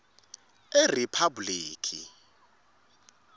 eriphabhulikhi